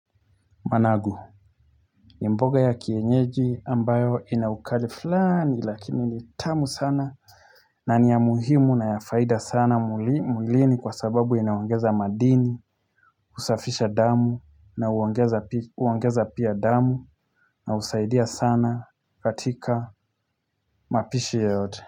Managu ni mboga ya kienyeji ambayo ina ukali fulani lakini ni tamu sana na ni ya muhimu na ya faida sana mwilini kwa sababu inaongeza madini Husafisha damu na huongeza pia damu, na husaidia sana katika mapishi yoyote.